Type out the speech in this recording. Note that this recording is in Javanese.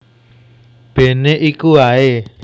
Bene iku ae